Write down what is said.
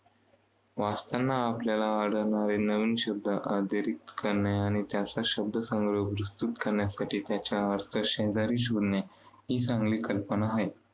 वाचताना आपल्याला आढळणारे नवीन शब्द अधोरेखित करणे आणि शब्दसंग्रह विस्तृत करण्यासाठी त्याचा अर्थ शेजारी लिहिणे ही चांगली कल्पना आहे.